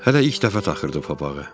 Hələ ilk dəfə taxırdı papağı.